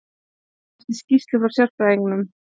Við bíðum eftir skýrslu frá sérfræðingnum.